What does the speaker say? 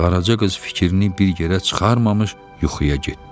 Qaraca qız fikrini bir yerə çıxarmamış yuxuya getdi.